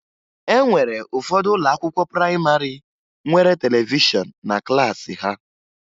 E nwere ụfọdụ ụlọakwụkwọ prayịmarị nwere televishọn na klaasị ha